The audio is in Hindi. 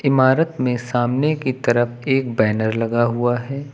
इमारत में सामने की तरफ एक बैनर लगा हुआ है।